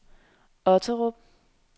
Otterup